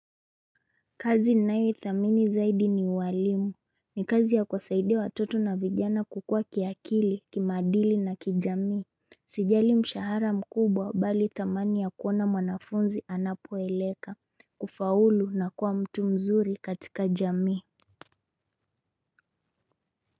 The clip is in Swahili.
Kazi ninayoithamini zaidi ni uwalimu ni kazi ya kuwasaidia watoto na vijana kukua kiakili, kimaadili na kijamii Sijali mshahara mkubwa bali thamani ya kuona mwanafunzi anapo eleka, kufaulu na kuwa mtu mzuri katika jamii.